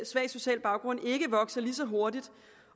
svag social baggrund ikke vokser så hurtigt